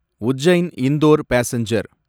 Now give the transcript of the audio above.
Ujjain Indore passenger